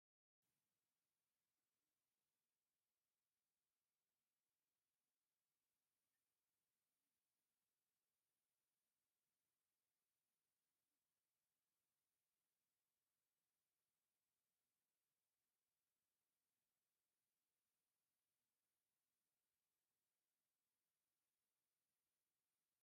እዚ መምሃሪ መጽሓፍ የርኢ። እታ መጽሓፍ "መኪና ንምዝዋር ዝሕግዝ መምርሒ" ዝብል ኣርእስቲ ዘለዋ ኮይና፡ ስእልታት ናይ ጽርግያ ምልክታትን ክፍልታት መኪናን ኣለዋ። ድሌት ትምህርትን ፍልጠትን ዘበራብር ተስፋ ዝህብ ምስሊ እዩ።